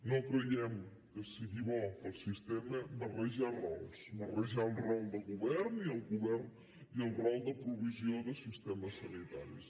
no creiem que sigui bo per al sistema barrejar rols barrejar el rol de govern i el rol de provisió de sistemes sanitaris